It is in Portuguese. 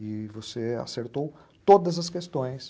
E você acertou todas as questões.